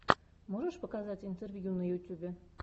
можешь показать интервью на ютюбе